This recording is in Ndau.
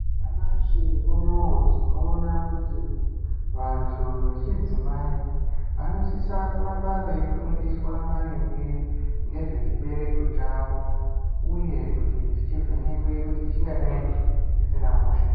Nyamashi unowu tinoona kuti ,vantu vechidzimai vanosisa kuramba veifundiswa maringe ngezvechibereko chavo, uye kuti chingadai chisina hosha ere.